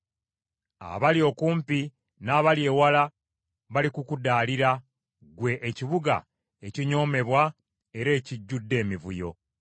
Abali okumpi n’abali ewala balikukudaalira, ggwe ekibuga ekinyoomebwa era ekijjudde emivuyo.